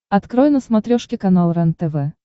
открой на смотрешке канал рентв